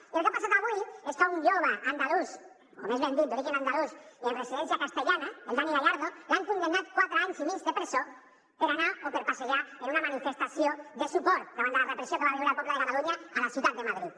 i el que ha passat avui és que a un jove andalús o més ben dit d’origen andalús i residència castellana al dani gallardo l’han condemnat a quatre anys i mig de presó per anar o per passejar en una manifestació de suport contra la repressió que va viure el poble de catalunya a la ciutat de madrid